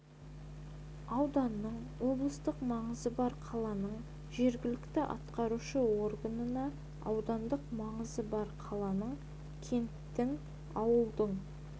ауданның облыстық маңызы бар қаланың жергілікті атқарушы органына аудандық маңызы бар қаланың кенттің ауылдың